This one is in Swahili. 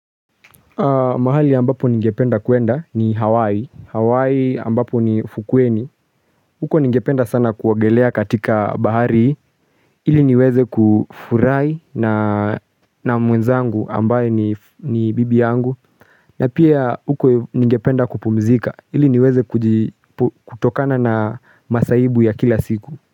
Mahali ambapo ningependa kuenda ni Hawaii, Hawaii ambapo ni ufukweni, huko ningependa sana kuogelea katika bahari, ili niweze kufurai na mwenzangu ambaye ni bibi yangu, na pia huko ningependa kupumzika, ili niweze kutokana na masaibu ya kila siku.